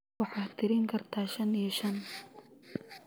waxaad tirin kartaa shan iyo shan